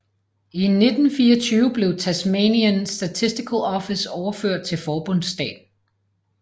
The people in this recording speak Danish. I 1924 blev Tasmanian Statistical Office overført til forbundsstaten